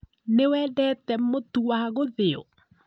Nĩwendete mũtu wa gũthĩo